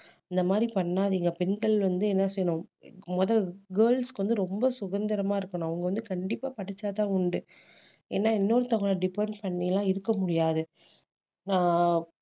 இந்த மாதிரி பண்ணாதீங்க பெண்கள் வந்து என்ன செய்யணும் முத girls க்கு வந்து ரொம்ப சுதந்திரமா இருக்கணும் அவங்க வந்து கண்டிப்பா படிச்சா தான் உண்டு ஏன்னா இன்னொருத்தவங்கள depend பண்ணி எல்லாம் இருக்க முடியாது நான்